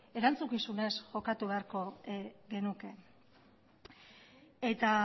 erantzukizunez jokatu beharko genuke eta